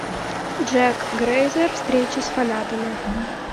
джек грейзер встреча с фанатами